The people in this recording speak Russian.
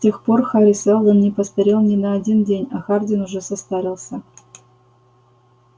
с тех пор хари сэлдон не постарел ни на один день а хардин уже состарился